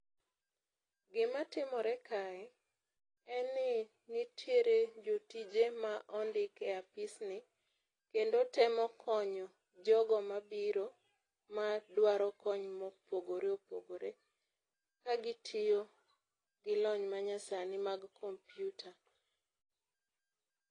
Gima timore kae, en ni, nitiere jotije ma ondik e Apis ni, kendo temo konyo jogo mabiro ma dwaro konyo mopogore opogore, ka gitiyo gi lony manyasi mag computer.